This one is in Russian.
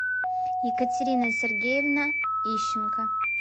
екатерина сергеевна ищенко